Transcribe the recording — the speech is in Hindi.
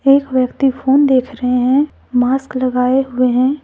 एक व्यक्ति फोन देख रहे हैं मास्क लगाए हुए हैं।